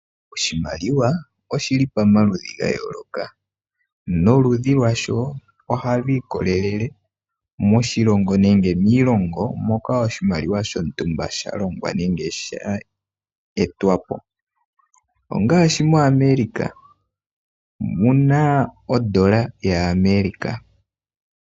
Oshimaliwa oshili pamaludhi ga yooloka noludhi lwasho ohalu ikolele moshilongo nenge miilongo moka oshimaliwa shontumba sha longwa nenge sha etwapo ongaashi moAmerica muna ondola yaAmerica.